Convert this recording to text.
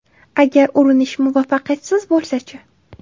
Agar urinish muvaffaqiyatsiz bo‘lsa-chi?